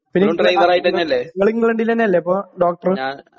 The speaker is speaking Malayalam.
ഇങ്ങളിങ്ക്ളന്റിലന്നല്ലെപ്പൊ ഡോക്ടറ്.